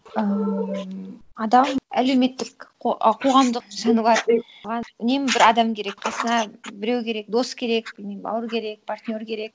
ыыы адам әлеуметтік ы қоғамдық жануар оған үнемі бір адам керек қасына біреу керек дос керек білмеймін бауыр керек партнер керек